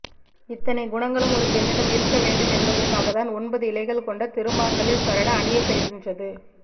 இத்தனைக் குணங்களும் ஒரு பெண்ணிடம் இருக்க வேண்டும் என்பதற்காகத்தான் ஒன்பது இழைகள் கொண்ட திருமாங்கல்யச்சரடு அணியப்பெறுகின்றது